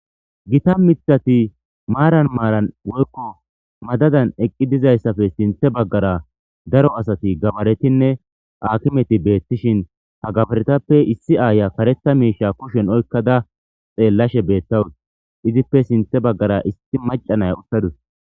Gita mithati maaran maaran woykko madadan eqqi dizayssafe sinte baggara daro asati gabaretinne akimeti beettishin ha gabaretappe issi aaya karetha miisha kushen oykkada xeellashe beettawuti izippe sinthe baggara isti macanaya uttadus.